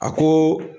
A ko